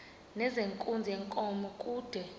nezenkunzi yenkomo kude